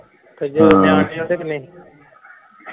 ਹਮ